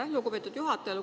Aitäh, lugupeetud juhataja!